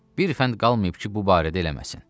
Bir fənd qalmayıb ki, bu barədə eləməsin.